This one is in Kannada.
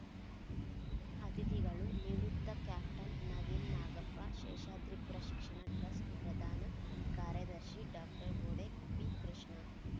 ಅತಿಥಿಗಳು ನಿವೃತ್ತ ಕ್ಯಾಪ್ಟನ್‌ ನವೀನ್‌ ನಾಗಪ್ಪ ಶೇಷಾದ್ರಿಪುರ ಶಿಕ್ಷಣ ಟ್ರಸ್ಟ್‌ ಪ್ರಧಾನ ಕಾರ್ಯದರ್ಶಿ ಡಾಕ್ಟರ್ ವೂಡೆ ಪಿಕೃಷ್ಣ